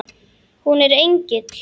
Hún er engill.